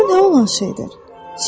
Bu nə olan şeydir?